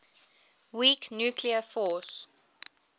weak nuclear force